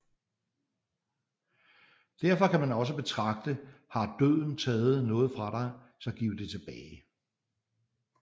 Derfor kan man også betragte Har døden taget noget fra dig så giv det tilbage